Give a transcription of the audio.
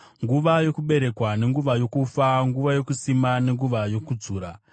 nguva yokuberekwa nenguva yokufa, nguva yokusima nenguva yokudzura;